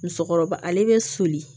Musɔkɔrɔba ale bɛ soli